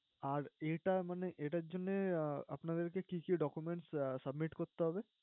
আর এটা মানে~এটার জন্যেআহ আপনাদেরকে কি কি documents submit করতে হবে।